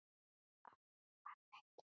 Af því varð ekki.